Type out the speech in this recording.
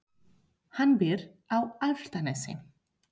Hann býr á Álftanesi.